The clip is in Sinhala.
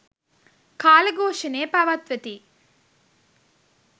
කාල ඝෝෂණය පවත්වති.